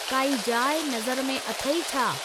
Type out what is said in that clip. काई जाइ नज़र में अथई छा?